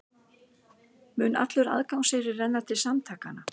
Mun allur aðgangseyrir renna til samtakanna